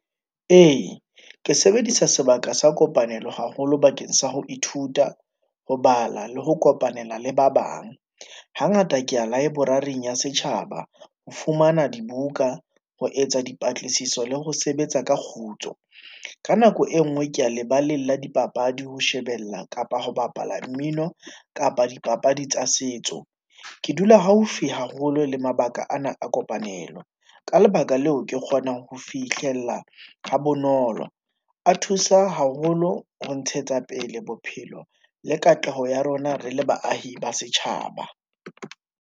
Ee, ke sebedisa sebaka sa kopanelo haholo bakeng sa ho ithuta, ho bala le ho kopanela le ba bang. Hangata ke ya library-ing ya setjhaba ho fumana dibuka ho etsa dipatlisiso le ho sebetsa ka kgutso. Ka nako e nngwe ko lebaleng la dipapadi, ho shebella kapa ho bapala mmino kapa dipapadi tsa setso. Ke dula haufi haholo le mabaka ana a kopanelo. Ka lebaka leo ke kgonang ho fihlella ha bonolo, a thusa haholo ho ntshetsa pele bophelo le katleho ya rona re le baahi ba setjhaba.